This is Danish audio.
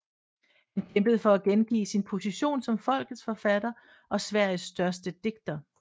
Han kæmpede for at genvinde sin position som folkets forfatter og Sveriges største digter